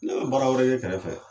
Ne baara wɛrɛ ye kɛrɛfɛ